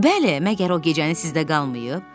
Bəli, məgər o gecəni sizdə qalmayıb?